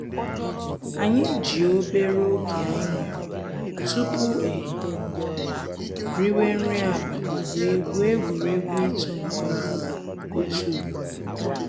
Anyị ji obere oge anyị nwere tupu e riwe nri abali wee gwue egwuregwu ịtụ nkume otu ugboro.